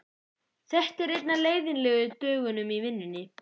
Þetta er einn af leiðinlegu dögunum í vinnunni.